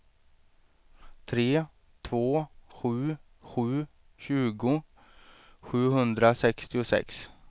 tre två sju sju tjugo sjuhundrasextiosex